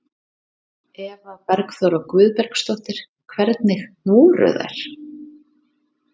Eva Bergþóra Guðbergsdóttir: Hvernig voru þær?